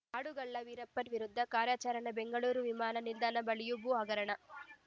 ಕಾಡುಗಳ್ಳ ವೀರಪ್ಪನ್‌ ವಿರುದ್ಧದ ಕಾರ್ಯಾಚರಣೆ ಬೆಂಗಳೂರು ವಿಮಾನ ನಿಲ್ದಾಣದ ಬಳಿಯ ಭೂ ಹಗರಣ